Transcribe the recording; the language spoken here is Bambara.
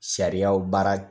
Sariyaw baara